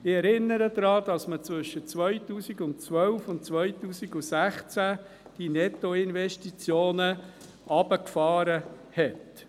Ich erinnere daran, dass man zwischen 2012 und 2016 die Nettoinvestitionen heruntergefahren hat.